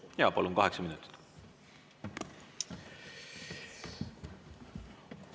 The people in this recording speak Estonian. Jaa, palun, kaheksa minutit!